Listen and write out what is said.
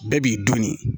Bɛɛ b'i dɔn nin